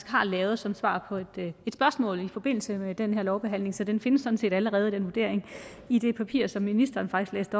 har lavet som svar på et spørgsmål i forbindelse med den her lovbehandling så den vurdering findes sådan set allerede i det papir som ministeren faktisk